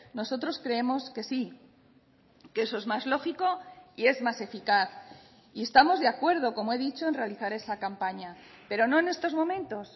nosotros creemos que sí que eso es más lógico y es más eficaz y estamos de acuerdo como he dicho en realizar esa campaña pero no en estos momentos